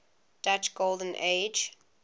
dutch golden age